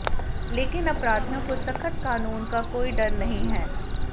लेकिन अपराधियों को सख्त कानून का कोई डर नहीं है